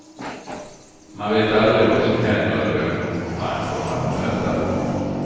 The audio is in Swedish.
Man vet aldrig vad som händer eller vem man kommer att möta.